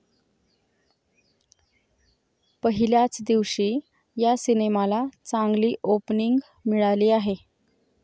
पहिल्याच दिवशी या सिनेमाला चांगली ओपनिंग मिळाली आहे.